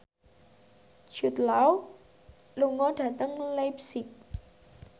Jude Law lunga dhateng leipzig